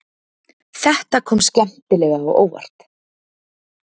Þetta kom skemmtilega á óvart